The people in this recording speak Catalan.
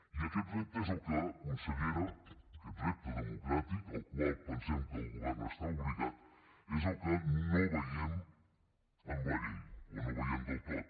i aquest repte és el que consellera aquest repte democràtic al qual pensem que el govern està obligat és el que no veiem en la llei o no el veiem del tot